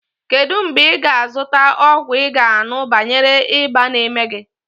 Kedụ mgbe ị ga a zụta ọgwụ ị ga aṅụ banyere ịba n'eme gị?